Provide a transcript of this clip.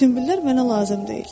Sümbüllər mənə lazım deyil.